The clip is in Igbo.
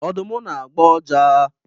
Ọdụm na agbọ uja.